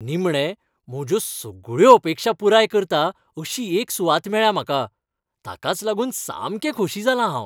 निमणें, म्हज्यो सगळ्यो अपेक्षा पुराय करता अशी एक सुवात मेळ्ळ्या म्हाका. ताकाच लागून सामकें खोशी जालां हांव.